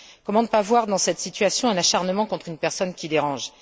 Comment ne pas voir dans cette situation un acharnement contre une personne qui dérange?